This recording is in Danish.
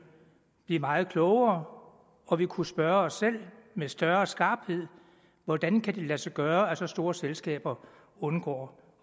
blive meget klogere og vi kunne spørge os selv med større skarphed hvordan kan det lade sig gøre at så store selskaber undgår